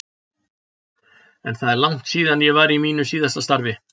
En það er langt síðan ég var í mínu síðasta starfi.